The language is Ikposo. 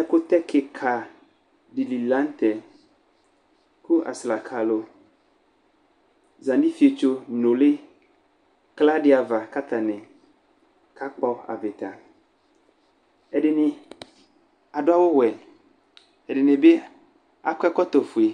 Ɛkʋtɛ kɩka dɩ li la nʋ tɛ kʋ aslaka alʋ za nʋ ifietso nʋlɩ kla dɩ ava kʋ atanɩ kakpɔ avɩta Ɛdɩnɩ adʋ awʋwɛ, ɛdɩnɩ bɩ akɔ ɛkɔtɔfue